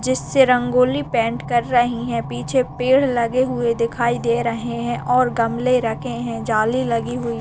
जिससे रंगोली पेंट कर रहीं हैं पीछे पेड़ लगे हुए दिखाई दे रहें हैं और गमले रखे हैं जाली लगी हुई --